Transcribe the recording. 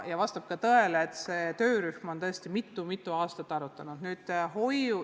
Vastab tõele, et see töörühm on tõesti mitu-mitu aastat seda kõike arutanud.